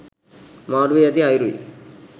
මාරු වී ඇති අයුරුයි.